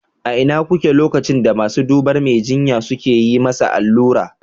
A ina kuke lokacin da masu dubar Mai jinya suka yi masa allura?